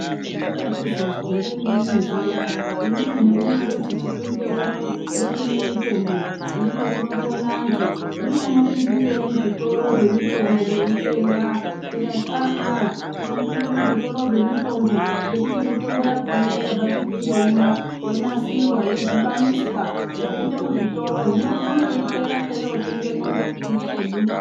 Chakazonzwi nerimweni zuwa imwimwi hamunoti Chipinge uno kune mitombo ndiko kunopona antu hino munopindindirei muzvitoro zvemutombo meitenga ndikati aaa tinopinda muzvitoro zvekutenga nekuti mutombo yacho yakabva kuchipinge uno yonasirwa yodhibaniswa yopinda muzvitoro hino tinoitevera teinoitengamo nekuti ngeyedu.